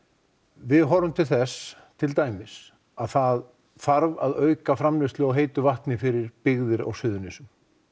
við horfum til þess til þess að það þarf að auka framleiðslu á heitu vatni fyrir byggðir á Suðurnesjum